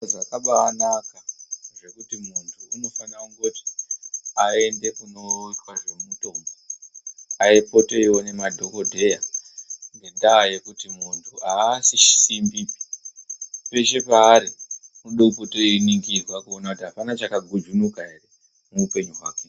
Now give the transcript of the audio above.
Zviro zvakabanaka kuti muntu afane eienda kunoitwa nezvemutombo Eipota eiona madhokodheya ngenyaya yekuti muntu asi simbi peshe paari anoda kuonekwa kuti apana chakagujunuka ere muhupenyu hwake.